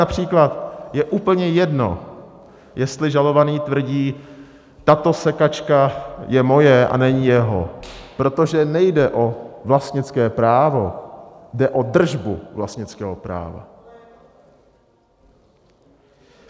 Například je úplně jedno, jestli žalovaný tvrdí: Tato sekačka je moje a není jeho, protože nejde o vlastnické právo, jde o držbu vlastnického práva.